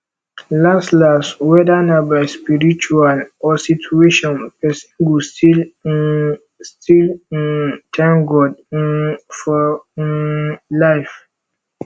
las las weda na by spiritual or situation pesin go still um still um tank god um for um lyf